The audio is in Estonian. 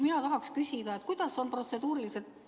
Mina tahan küsida, kuidas see protseduuriliselt ette nähtud on.